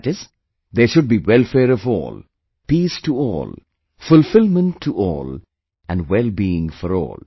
That is, there should be welfare of all, peace to all, fulfillment to all and well being for all